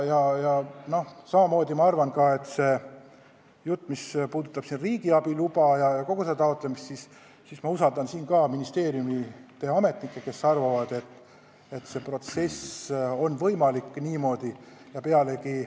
Samamoodi ma arvan, et mis puudutab riigiabi loa taotlemist, siis ma usaldan ka selles ministeeriumi ametnikke, kes usuvad, et see protsess on võimalik niimoodi lõpule viia.